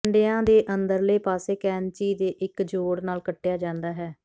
ਕੰਢਿਆਂ ਦੇ ਅੰਦਰਲੇ ਪਾਸੇ ਕੈਚੀ ਦੇ ਇੱਕ ਜੋੜ ਨਾਲ ਕੱਟਿਆ ਜਾਂਦਾ ਹੈ